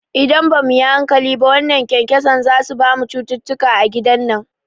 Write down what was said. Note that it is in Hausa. Idan bamu yi hankali ba wannan kyankyaso zasu bamu cututtuka a gidan nan